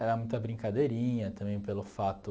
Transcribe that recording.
Era muita brincadeirinha, também pelo fato...